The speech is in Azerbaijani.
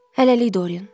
Hələlik Doryan.